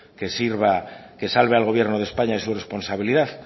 que salve al gobierno de españa de su responsabilidad